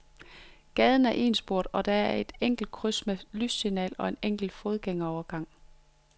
Gaden er etsporet og der er et enkelt kryds med lyssignal og en enkelt fodgængerovergang.